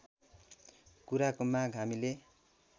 कुराको माग हामीले